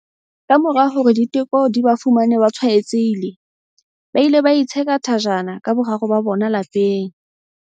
Kamora hore diteko di ba fumane ba tshwaetsehile, ba ile ba itsheka thajana ka boraro ba bona lapeng.